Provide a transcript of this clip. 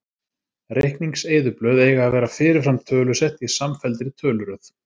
Reikningseyðublöð eiga að vera fyrirfram tölusett í samfelldri töluröð.